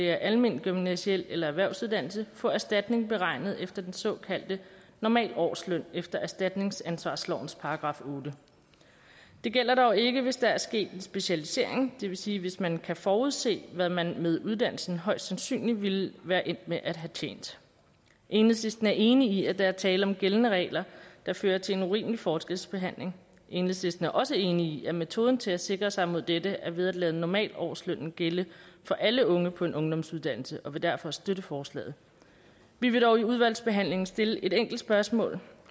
er alment gymnasial eller en erhvervsuddannelse få erstatning beregnet efter den såkaldte normalårsløn efter erstatningsansvarslovens § ottende det gælder dog ikke hvis der er sket en specialisering det vil sige hvis man kan forudse hvad man med uddannelsen højst sandsynligt ville være endt med at have tjent enhedslisten er enig i at der er tale om gældende regler der fører til en urimelig forskelsbehandling enhedslisten er også enig i at metoden til at sikre sig mod dette er ved at lade normalårslønnen gælde for alle unge på en ungdomsuddannelse og vi vil derfor støtte forslaget vi vil dog i udvalgsbehandlingen stille et enkelt spørgsmål